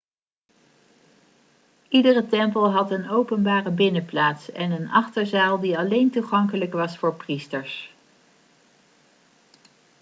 iedere tempel had een openbare binnenplaats en een achterzaal die alleen toegankelijk was voor priesters